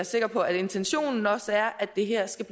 sikker på at intentionen også er at det her skal